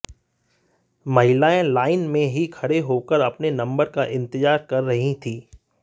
महिलाएं लाइन में ही खड़े होकर अपने नम्बर का इंतजार कर रही थीं